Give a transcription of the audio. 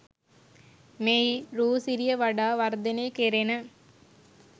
මෙහි රූ සිරිය වඩා වර්ධනය කෙරෙන